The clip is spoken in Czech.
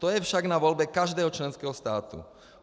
To je však na volbě každého členského státu.